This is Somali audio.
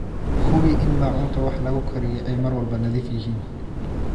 Hubi in maacuunta wax lagu kariyo ay mar walba nadiif yihiin.